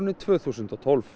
tvö þúsund og tólf